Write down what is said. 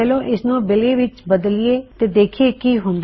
ਚਲੋ ਇਸਨੂੰ ਬਿਲੀ ਬਿਲੀ ਵਿੱਚ ਬਦਲਿਏ ਤੇ ਦਾਖਿਏ ਕਿ ਹੁੰਦਾ ਹੈ